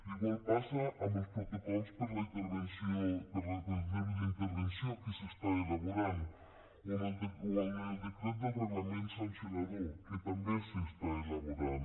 igual passa amb els protocols d’intervenció que s’estan elaborant o amb el decret del reglament sancionador que també s’està elaborant